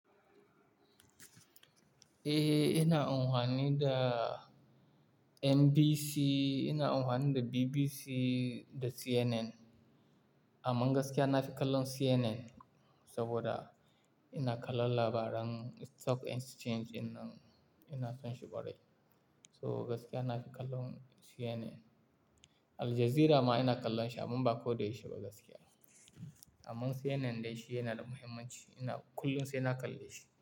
Eh, ina amfani da NBC, ina amfani da BBC da CNN. Amman gaskiya na fi kallon CNN saboda ina kallon labaran stock exchange, in nan ina son shi bari. So gaskiya na fi kallon CNN. Al Jazeera ma ina kallon shi amman ba ko da yaushe ba gaskiya. Amman CNN dai shi yana da muhimmanci, ina kullum sai na kalla shi.